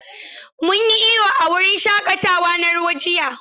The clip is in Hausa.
Mun yi iyo a wurin shaƙatawa na ruwa jiya.